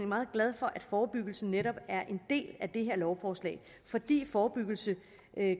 meget glad for at forebyggelsen netop er en del af det her lovforslag fordi forebyggelse